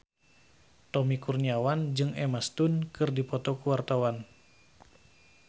Tommy Kurniawan jeung Emma Stone keur dipoto ku wartawan